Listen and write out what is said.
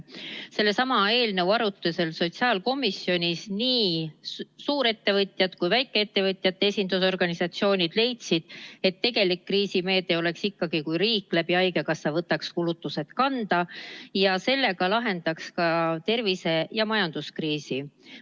Sellesama eelnõu arutusel sotsiaalkomisjonis nii suurettevõtjad kui väikeettevõtjate esindusorganisatsioonid leidsid, et tegelik kriisimeede oleks ikkagi, kui riik võtaks haigekassa kaudu kulutused kanda ja sellega lahendaks tervise- ja majanduskriisi.